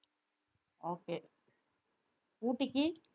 okay ஊட்டிக்கு